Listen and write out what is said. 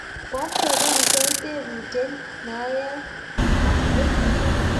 koateben gei tebutit noe ye arue